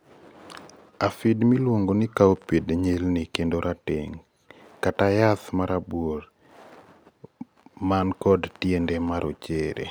afid miluongo cowpid nyilni kendo rateng' kata jath marabuor man kod tiende marochere